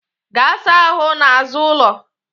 Gaa saa ahụ n'azụ ụlọ!